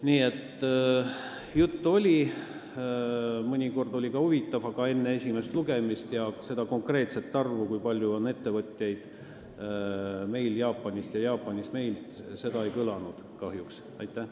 Nii et juttu oli, mõnikord oli see ka huvitav, aga konkreetset arvu, kui palju on meil ettevõtteid Jaapanist ja Jaapanis meie ettevõtteid, kahjuks ei kõlanud.